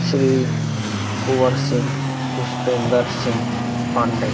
Shri Kunwar Singh Pushpendra Singh Pandey.